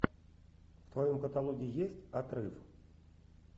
в твоем каталоге есть отрыв